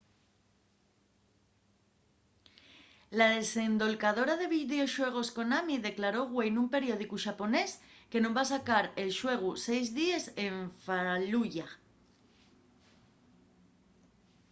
la desendolcadora de videoxuegos konami declaró güei nun periódicu xaponés que nun va sacar el xuegu seis díes en fallujah